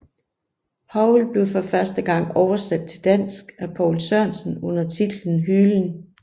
Howl blev første gang oversat til dansk af Poul Sørensen under titlen Hylen